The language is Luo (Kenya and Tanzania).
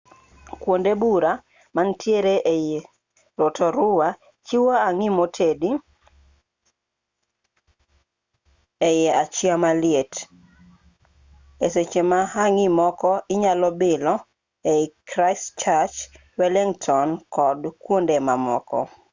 kwonde buora manitiere ei rotorua chiwo hangi motedi ei achiya maliet e seche ma hangi moko inyalo bilo ei christchurch wellington kod kwonde mamoko